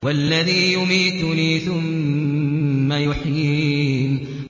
وَالَّذِي يُمِيتُنِي ثُمَّ يُحْيِينِ